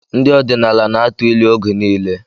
Ndị ọdịnala na-atụ ilu oge niile.